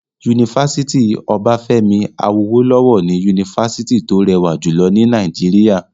Yunifásítì Obafemi Awolowo ni yunifásítì tó rẹwà jùlọ ní Nàìjíríà.